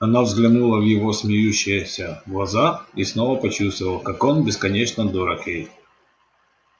она взглянула в его смеющиеся глаза и снова почувствовала как он бесконечно дорог ей